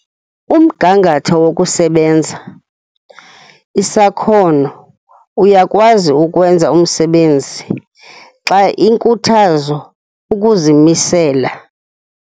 Umgangatho wokusebenza Isakhono, uyakwazi ukwenza umsebenzi xa inkuthazo, ukuzimisela.